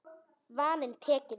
Vaninn tekinn við.